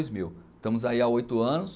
Dois mil. Estamos aí há oito anos.